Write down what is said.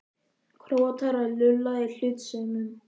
Króatar að lulla í hlutlausum?